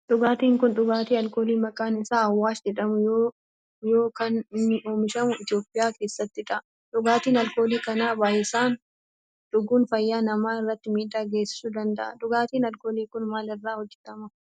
Dhugaatin kun dhugaatii alkoolii maqaan isaa awaash jedhamu yoo kan inni oomishamu Itiyoophiyaa keessattidha. Dhugaatii alkoolii kana baayyisanii dhuguun fayyaa namaa irratti miidhaa geessisu danda'aa. Dhugaatin alkoolii kun maal irraa hojjetama?